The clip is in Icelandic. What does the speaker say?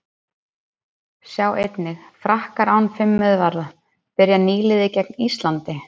Sjá einnig: Frakkar án fimm miðvarða- Byrjar nýliði gegn Íslandi?